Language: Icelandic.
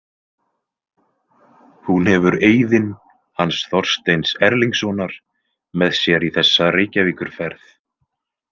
Hún hefur Eiðinn hans Þorsteins Erlingssonar með sér í þessa Reykjavíkurferð.